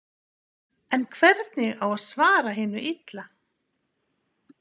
En hvernig á að svara hinu illa?